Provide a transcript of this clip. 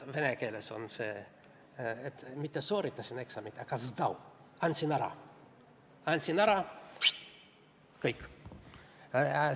Vene keeles on see, et mitte sooritasin eksami, aga zdal, andsin ära – andsin ära, kõik!